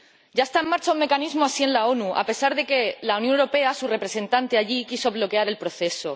Ya está en marcha un mecanismo así en la ONU, a pesar de que la Unión Europea —su representante allí— quiso bloquear el proceso.